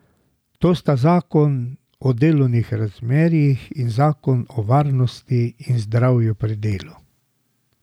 To sta zakon o delovnih razmerjih in zakon o varnosti in zdravju pri delu.